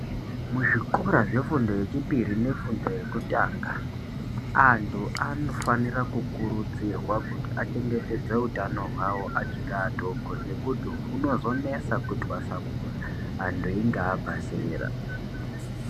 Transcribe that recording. Muzvikora zvefundo yechipiri nefundo yekutanga. Antu anofanira kukurudzirwa kuti achengetedze utano hwavo achiri atoko nekuti hunozonesa kutwasamura antu enga abva zera.